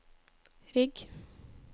rygg